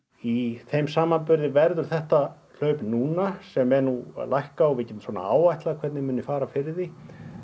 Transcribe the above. í þeim samanburði verður þetta hlaup núna sem er nú að lækka og við getum áætlað hvernig muni fara fyrir því